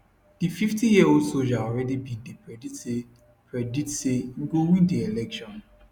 di 50yearold soldier already bin dey predict say predict say im go win di election